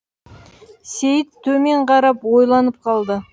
сейіт төмен қарап ойланып қалды